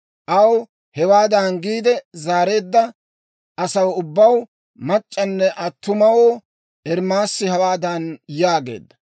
Aw hewaadan giide zaareedda asaw ubbaw, mac'c'anne attumawoo, Ermaasi hawaadan yaageedda;